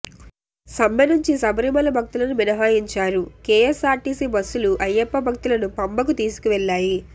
సమ్మె నుంచి శబరిమల భక్తులను మినహాయించారు కేఎస్ఆర్టీసీ బస్సులు అయ్యప్ప భక్తులను పంబకు తీసుకువెళ్లాయి